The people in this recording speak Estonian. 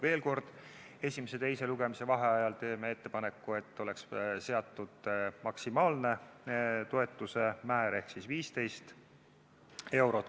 Veel kord, esimese ja teise lugemise vahel teeme ettepaneku, et oleks seatud maksimaalne toetuse määr ehk 15 eurot.